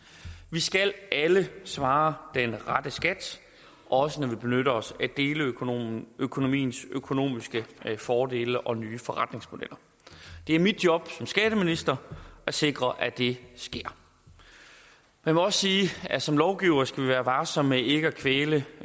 skal alle svare den rette skat også når vi benytter os af deleøkonomiens økonomiske økonomiske fordele og nye forretningsmodeller det er mit job som skatteminister at sikre at det sker jeg må også sige at som lovgivere skal vi være varsomme med ikke at kvæle